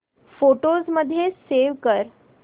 photos मध्ये save कर